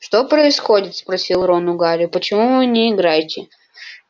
что происходит спросил рон у гарри почему вы не играете